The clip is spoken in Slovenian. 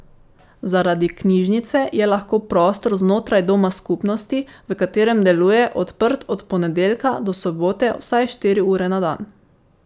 Zaradi Knjižnice je lahko prostor znotraj Doma skupnosti, v katerem deluje, odprt od ponedeljka do sobote vsaj štiri ure na dan.